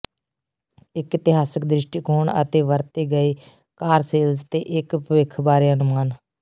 ਇਕ ਇਤਿਹਾਸਕ ਦ੍ਰਿਸ਼ਟੀਕੋਣ ਅਤੇ ਵਰਤੇ ਗਏ ਕਾਰ ਸੇਲਜ਼ ਤੇ ਇਕ ਭਵਿੱਖ ਬਾਰੇ ਅਨੁਮਾਨ